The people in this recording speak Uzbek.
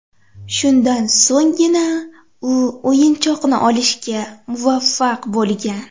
Shundan so‘nggina, u o‘yinchoqni olishga muvaffaq bo‘lgan.